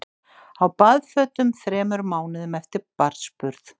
Á baðfötum þremur mánuðum eftir barnsburð